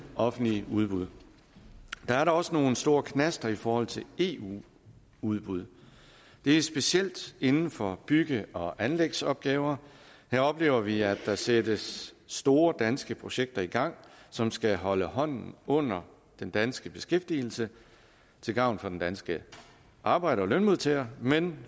offentlige udbud der er dog også nogle store knaster i forhold til eu udbud det er specielt inden for bygge og anlægsopgaver her oplever vi at der sættes store danske projekter i gang som skal holde hånden under den danske beskæftigelse til gavn for den danske arbejder og lønmodtager men